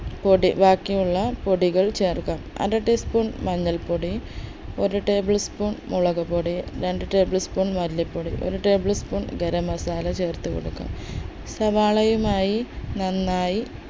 പൊടി ബാക്കിയുള്ള പൊടികൾ ചേർക്കണം അര tea spoon മഞ്ഞൾപ്പൊടി ഒരു table spoon മുളകുപൊടി രണ്ട് tablespoon മല്ലിപൊടി ഒരു table spoon ഗരം masala ചേർത്ത് കൊടുക്കണം സവാളയുമായി നന്നായി